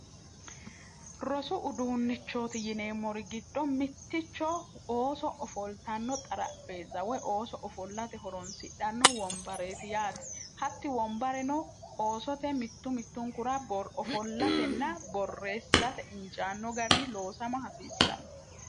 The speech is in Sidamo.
rosu uduunnichooti yineemmori giddho mitticho ooso ofoltanno xaraphe zawoy ooso ofollate horonsidhanno wombareeti yaati hatti wombareno oosote mittu mittunkura borofollatenna borreessi'rate injaanno gari loosama hasiissanno